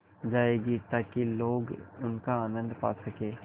जाएगी ताकि लोग उनका आनन्द पा सकें